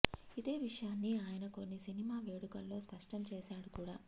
ఇదే విషయాన్ని ఆయన కొన్ని సినిమా వేడుకల్లో స్పష్టం చేశాడు కూడా